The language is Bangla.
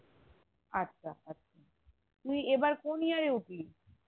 আচ্ছা তুই এবারে কোন year এ উঠলি?